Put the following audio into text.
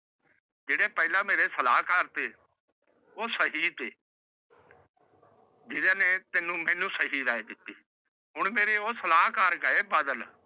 ਜੇਰੇ ਪਹਲਾ ਮੇਰੇ ਸਾਲਾ ਕਰਤੇ ਓਹ ਸਹੀਦ ਸੀ ਜਿਦੇ ਨਾਲ ਮੈਨੂ ਸਹੀ ਰਾਇ ਦਿਤੀ ਸੀ ਹੁਣਮੇਰੇ ਓਹ ਸਲਾਹ ਨਾਲ ਗਏ ਬਦਲ